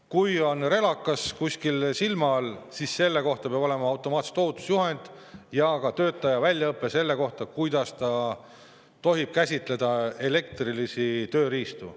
Kui on relakas kuskil silma all, siis selle kohta peab olema automaatselt ohutusjuhend ja ka töötaja peab olema välja õpetatud, kuidas käsitleda elektrilisi tööriistu.